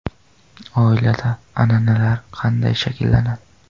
Oilada an’analar qanday shakllanadi?.